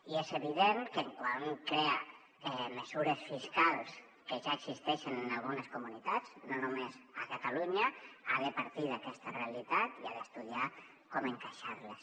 i és evident que quan un crea mesures fiscals que ja existeixen en algunes comunitats no només a catalunya ha de partir d’aquesta realitat i ha d’estudiar com encaixar les